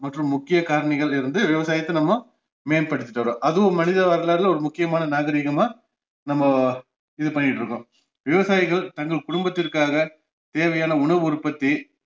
மற்றும் முக்கிய காரணிகளிலிருந்து விவசாயத்த நம்ம மேம்படுத்திட்டு வர்றோம் அதுவும் மனித வரலாறுல ஒரு முக்கியமான நாகரீகமா நம்ம இது பண்ணிட்டுருக்கோம் விவசாயிகள் தங்கள் குடும்பத்திற்காக தேவையான உணவு உற்பத்தி